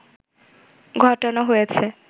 ঘটানো হয়েছে